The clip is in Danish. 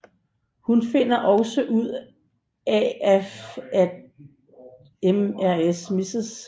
Hun finder også ud af at Mrs